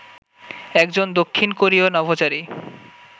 একজন দক্ষিণ কোরীয় নভোচারী